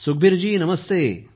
Sukhbir ji Namaste